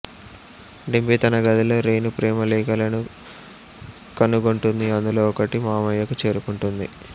డింపీ తన గదిలో రేణు ప్రేమలేఖలను కనుగొంటుంది అందులో ఒకటి మామయ్యకు చేరుకుంటుంది